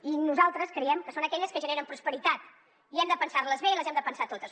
i nosaltres creiem que són aquelles que generen prosperitat i hem de pensar les bé i les hem de pensar totes